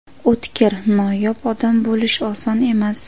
O‘tkir, noyob odam bo‘lish oson emas.